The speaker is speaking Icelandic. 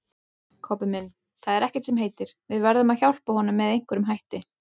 Kobbi minn, það er ekkert sem heitir, við verðum að hjálpa honum með einhverjum hætti